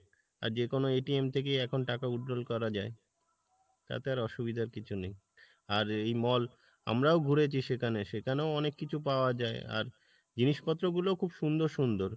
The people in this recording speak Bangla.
আর যেকোনো থেকেই এখন টাকা withdrawal করা যাই, তাতে আর অসুবিধার কিছু নেই আর এই mall আমরাও ঘুরেছি সেখানে সেখানেও অনেক কিছু পাওয়া যাই, আর জিনিস পত্র গুলো খুব সুন্দর সুন্দর